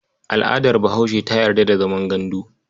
Al'adar Bahaushe ta yarda da zaman gandu.